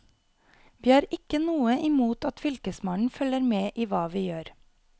Vi har ikke noe imot at fylkesmannen følger med i hva vi gjør.